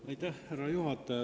Härra juhataja!